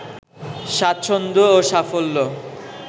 স্বাচ্ছন্দ ও সাফল্য